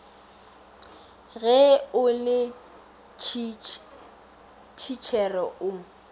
ge o le thitšhere o